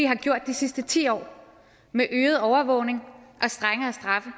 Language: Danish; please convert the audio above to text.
har gjort de sidste ti år med øget overvågning og strengere straffe